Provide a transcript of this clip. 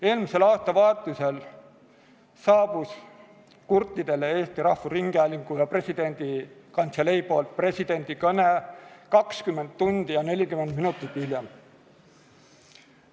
Eelmisel aastavahetusel jõudis Eesti Rahvusringhäälingu ja presidendi kantselei poolt presidendi kõne kurtideni 20 tundi ja 40 minutit hiljem.